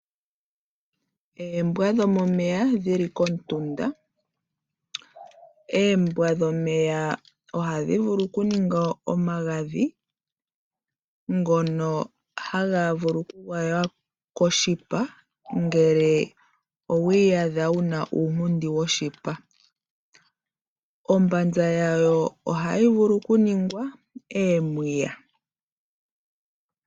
Oombwa dhomomeya dhi li komutunda. Oombwa dhomomeya ohadhi gandja omagadhi ngono haga vulu okugwaywa koshipa ngele owi iyadha wu na uunkundi woshipa. Oshipa shayo ohayi vulu okuningwa omapaya.